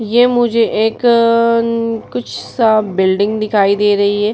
ये मुझे एक अअअ अन कुछ सा बिल्डिंग दिखाई दे रही है |